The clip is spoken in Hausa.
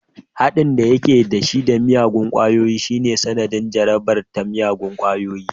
Haɗin da yake da shi da miyagun ƙungiyoyi shine sanadin jarabarsa ta miyagun ƙwayoyi